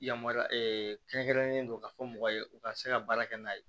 Yamaruya kɛrɛnkɛrɛnnen don ka fɔ mɔgɔ ye u ka se ka baara kɛ n'a ye